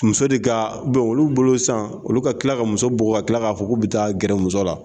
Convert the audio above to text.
Muso de ka , olu bolo san olu ka kila ka muso bugɔ ka kila ka fɔ k'u be taa gɛrɛ muso la.